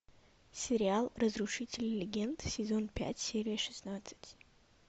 сериал разрушители легенд сезон пять серия шестнадцать